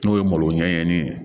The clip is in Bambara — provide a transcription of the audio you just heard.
N'o ye malo ɲɛɲɛnin ye